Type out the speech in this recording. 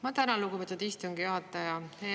Ma tänan, lugupeetud istungi juhataja!